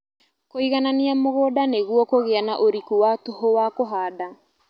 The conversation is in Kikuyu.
Kũiganania mũgũnda nĩguo kũgĩa na ũriku wa tũhũ wa kũhanda